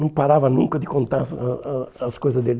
Não parava nunca de contar as ah ah as coisas dele.